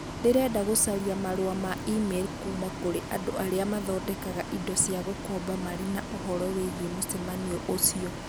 Ndĩrenda gũcaria marũa ma e-mail kuuma kũrĩ andũ arĩa mathondekaga indo cia gũkomba marĩ na ũhoro wĩgiĩ mũcemanio ũcio.